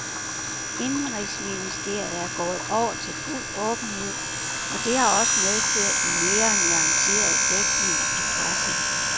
Indenrigsministeriet er gået over til fuld åbenhed, og det har også medført en mere nuanceret dækning i pressen.